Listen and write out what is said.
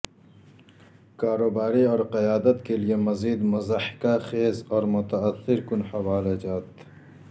کاروباری اور قیادت کے لئے مزید مضحکہ خیز اور متاثر کن حوالہ جات